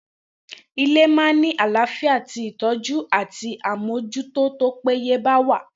Ile ma ni alaafia ti itoju àti àmójútó tó péye bá wà.